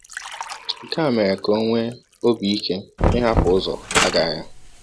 Nke a mere ka o nwee obi ike ịhapụ ụzọ agha ya.